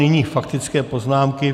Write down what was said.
Nyní faktické poznámky.